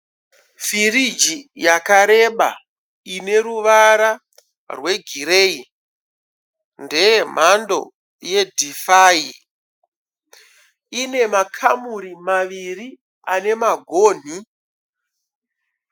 Firigi yakareba ine ruvara rwegireyi. Ndeye mhando yeDhifayi. Ine makamuri maviri ane magonhi.